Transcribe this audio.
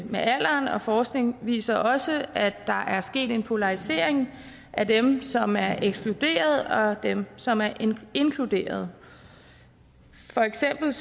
med alderen og forskning viser også at der er sket en polarisering af dem som er ekskluderet og dem som er inkluderet for eksempel